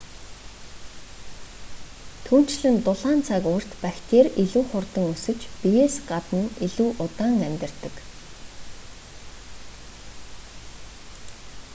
түүнчлэн дулаан цаг уурт бактери илүү хурдан өсөж биеэс гадна илүү удаан амьдардаг